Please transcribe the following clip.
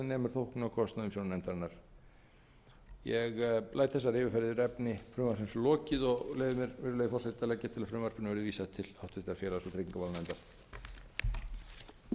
nemur þóknunarkostnaði umsjónarnefndarinnar ég læt þessari yfirferð yfir efni frumvarpsins lokið og leyfi mér virðulegi forseti að leggja til að frumvarpinu verði vísað til háttvirtrar félags og tryggingamálanefndar